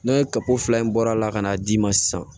Ne ye kako fila in bɔra ka n'a d'i ma sisan